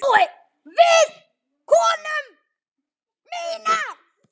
Við konu mína.